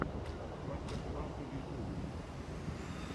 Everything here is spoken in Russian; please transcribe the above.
мастер классы в ютубе